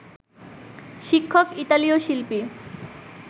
শিক্ষক ইতালীয় শিল্পী